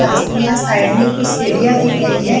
रास्ते में यहाँ साइड में कुछ सीढ़ियां दिख रही हैं।